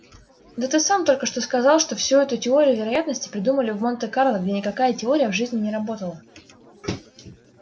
да ты сам только что сказал что всю эту теорию вероятности придумали в монте-карло где никакая теория в жизни не работала